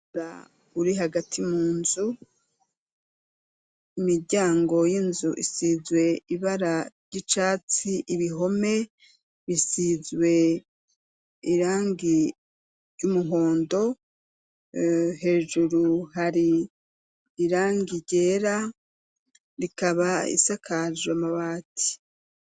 Ba uri hagati mu nzu imiryango y'inzu isizwe ibara ry'icatsi ibihome bisizwe irangi y'umuhondo hejuru hari irangi ryera rikaba ba isakajwa amabati.